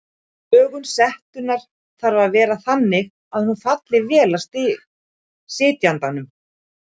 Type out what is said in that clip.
Lögun setunnar þarf að vera þannig að hún falli vel að sitjandanum.